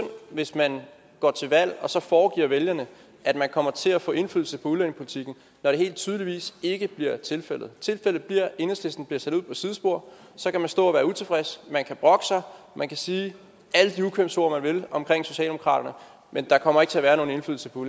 hvis man går til valg og så foregøgler vælgerne at man kommer til at få indflydelse på udlændingepolitikken når det helt tydeligt ikke bliver tilfældet tilfældet bliver at enhedslisten bliver sat ud på sidespor så kan man stå og være utilfreds man kan brokke sig man kan sige alle de ukvemsord man vil om socialdemokraterne men der kommer ikke til at være nogen indflydelse på